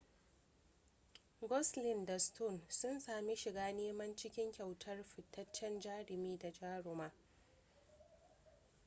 gosling da stone sun sami shiga neman cikin kyautar fitaccen jarumi da jaruma